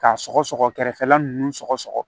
K'a sɔgɔsɔgɔ kɛrɛfɛla ninnu sɔgɔ